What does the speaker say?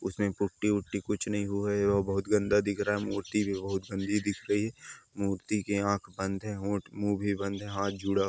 उसमें पुट्टी ऊट्टी कुछ नहीं हुए। वो बहुत गंदा दिख रहा है। मूर्ति भी बहुत गंदी दिख रही है। मूर्ति की आंख बंद है होंठ मुँह भी बंद है हाथ जुडा--